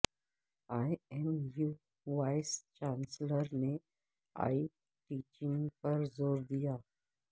اے M U vice chancellor نے e teaching پر زور دیا